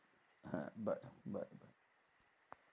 হ্যাঁ।